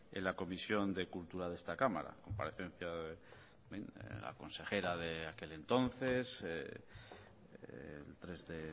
en la comisión de cultura de esta cámara la comparecencia de la consejera de aquel entonces el tres de